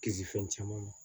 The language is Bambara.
Kisi fɛn caman ma